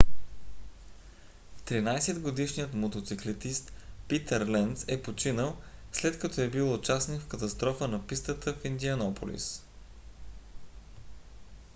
13-годишният мотоциклетист питър ленц е починал след като е бил участник в катастрофа на пистата в индианаполис